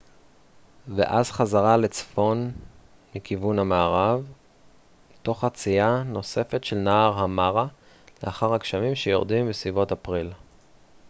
ואז חזרה לצפון מכיוון מערב תוך חצייה נוספת של נהר המארה לאחר הגשמים שיורדים בסביבות אפריל